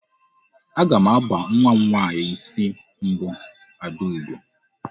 Aga m aba nwa m nwaanyị isi mbụ Adaugo.